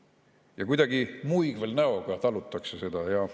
Ja kuidagi muigvel näoga talutakse seda.